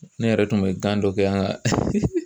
Ne yɛrɛ tun bɛ gan dɔ kɛ an ka